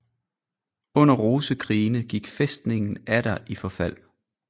Under rosekrigene gik fæstningen atter i forfald